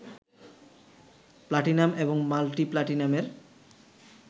platinum এবং multi প্লাটিনামের